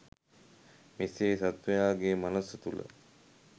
මෙසේ සත්වයාගේ මනස තුළ